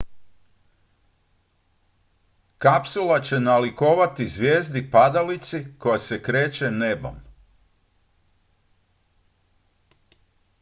kapsula će nalikovati zvijezdi padalici koja se kreće nebom